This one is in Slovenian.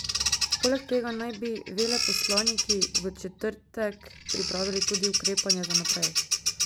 Poleg tega naj bi veleposlaniki v četrtek pripravili tudi ukrepanje za naprej.